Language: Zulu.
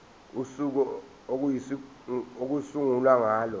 usuku okuyosungulwa ngalo